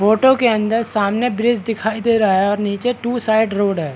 Photo के अंदर सामने ब्रिज दिखाई दे रहा है और नीचे टू साइड रोड है।